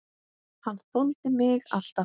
Hann þoldi mig alltaf.